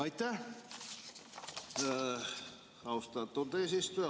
Aitäh, austatud eesistuja!